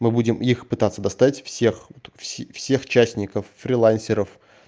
мы будем их пытаться достать всех-всех частников фрилансеров